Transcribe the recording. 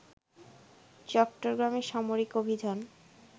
চট্টগ্রামে সামরিক অভিযান